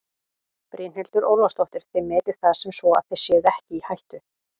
Brynhildur Ólafsdóttir: Þið metið það sem svo að þið séuð ekki í hættu?